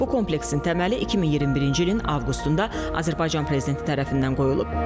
Bu kompleksin təməli 2021-ci ilin avqustunda Azərbaycan prezidenti tərəfindən qoyulub.